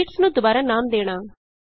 sheets ਨੂੰ ਦੁਬਾਰਾ ਨਾਮ ਦੇਣਾ